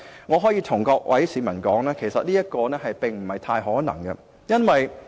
我可以告訴各位市民，這樣做不太可能。